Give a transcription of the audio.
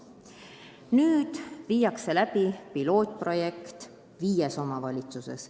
Nüüd viiakse läbi pilootprojekt viies omavalitsuses.